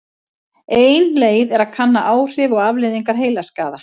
Ein leið er að kanna áhrif og afleiðingar heilaskaða.